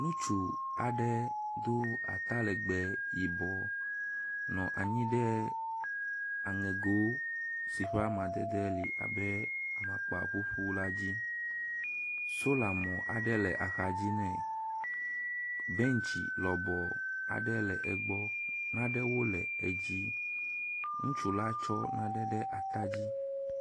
Ŋutsu aɖe do atalegbe yibɔ nɔ anyi ɖe aŋego si ƒe amadede li abe amakpa ƒuƒu la dzi. Sola mɔ aɖe le axadzi nɛ. Bentsi lɔbɔ aɖe le egbɔ. Nanewo le edzi. Ŋutsu la tsɔ nane ɖe ata dzi.